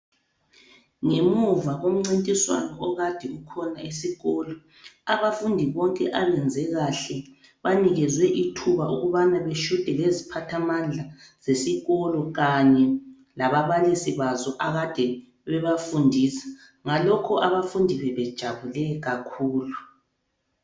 Ngemuva komncintiswano okade ukhona esikolo abafundi bonke abenze kahle banikezwe ithuba ukubana bashute leziphathamandla zesikolo kanye lababalisi bazo ekade bebafundisa ngalokho abafundi bebejabule kakhulu.